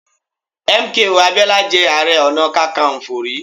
M. K. O. Abiola jẹ́ Ààrẹ Ọ̀nà Kakaǹfò rí.